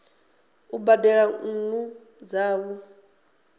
a u badela nnu dzavho